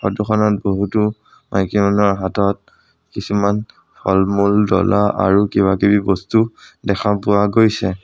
ফটোখনত বহুতো মাইকী মানুহৰ হাতত কিছুমান ফলমূল ডলা আৰু কিবা কিবি বস্তু দেখা পোৱা গৈছে।